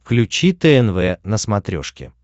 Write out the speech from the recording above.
включи тнв на смотрешке